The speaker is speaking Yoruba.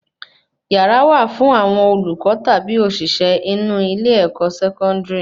Yàrá wà fún àwọn olùkọ tabi oṣiṣẹ inú ilé-ẹ̀kọ́ Sẹkọndiri